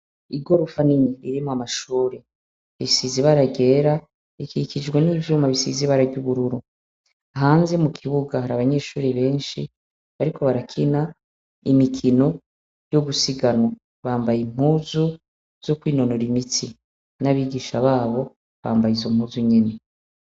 Igorofa ni nyi ririmwa amashure isizi baragera ikikijwe n'ivyuma bisizi bararyubururu hanze mu kibuga hari abanyeshuri benshi, ariko barakina imikino yo gusiganwa bambaye impuzu zo kwinonora imitsi n'abigisha babo bambaye izo mpuzu nyene.